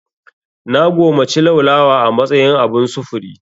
Na gomaci laulawa a matsayin abun sufuri.